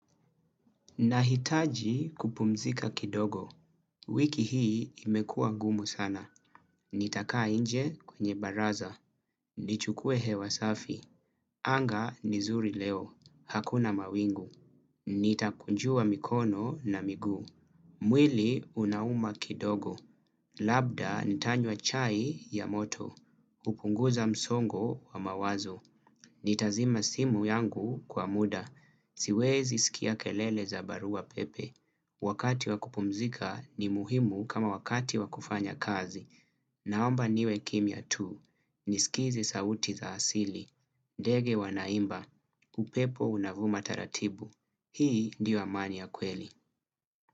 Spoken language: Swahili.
Nahitaji kupumzika kidogo, wiki hii imekuwa ngumu sana, nitakaa inje kwenye baraza, nichukue hewa safi, anga ni zuri leo, hakuna mawingu, nitakunjua mikono na miguu, mwili unauma kidogo, labda nitanywa chai ya moto, hupunguza msongo wa mawazo, nitazima simu yangu kwa muda, siwezi sikia kelele za barua pepe. Wakati wa kupumzika ni muhimu kama wakati wa kufanya kazi. Naomba niwe kimya tu. Nisikize sauti za asili. Dege wanaimba. Upepo unavuma taratibu. Hii ndio amani ya kweli.